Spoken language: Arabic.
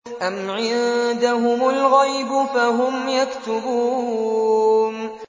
أَمْ عِندَهُمُ الْغَيْبُ فَهُمْ يَكْتُبُونَ